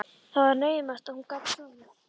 Það var naumast að hún gat sofið.